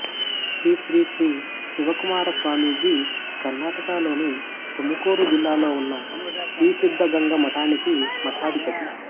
శ్రీశ్రీశ్రీ శివకుమార స్వామీజీ కర్ణాటకలోని తుముకూరు జిల్లాలో ఉన్న శ్రీసిద్ధగంగ మఠానికి మఠాధిపతి